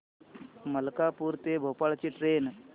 मलकापूर ते भोपाळ ची ट्रेन